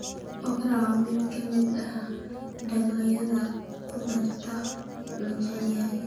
Okra waa mid ka mid ah dalagyada khudaarta la jecel yahay.